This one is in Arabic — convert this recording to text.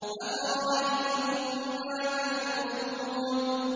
أَفَرَأَيْتُم مَّا تَحْرُثُونَ